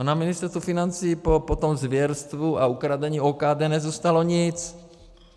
A na Ministerstvu financí po tom zvěrstvu a ukradení OKD nezůstalo nic.